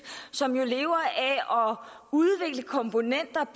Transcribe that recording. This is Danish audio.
som jo lever af at udvikle komponenter